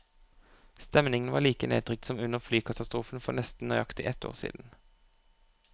Stemningen var like nedtrykt som under flykatastrofen for nesten nøyaktig ett år siden.